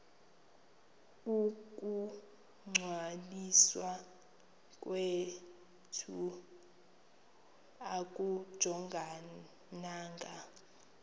ukungcwaliswa kwethu akujongananga